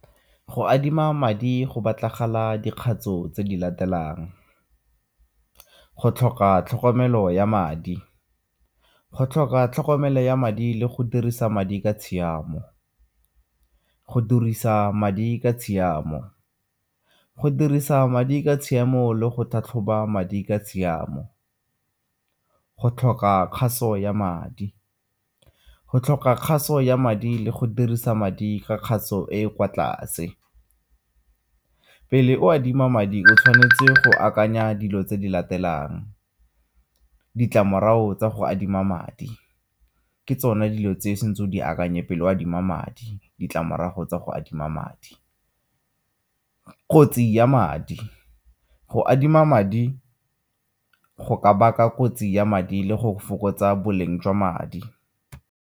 Go adima madi go batlagala dikgato tse di latelang go tlhoka tlhokomelo ya madi, go tlhoka tlhokomelo ya madi le go dirisa madi ka tshiamo. Go dirisa madi ka tshiamo, go dirisa madi ka tshiamo le go tlhatlhoba madi ka tshiamo. Go tlhoka kgaso ya madi, go tlhoka kgaso ya madi le go dirisa madi ka kgaso e e kwa tlase. Pele o adima madi, o tshwanetse go akanya dilo tse di latelang, ditlamorago tsa go adima madi ke tsone dilo tse e seng tse o di akanye pele o adima madi ditlamorago tsa go adima madi. Kotsi ya madi go adima madi, go ka baka kotsi ya madi le go fokotsa boleng jwa madi.